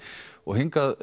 og hingað